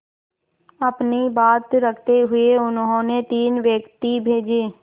अपनी बात रखते हुए उन्होंने तीन व्यक्ति भेजे